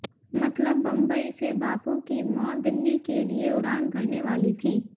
मतलब बंबई से बापू की मौत दिल्ली के लिए उड़ान भरने वाली थी